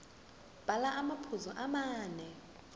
bhala amaphuzu amane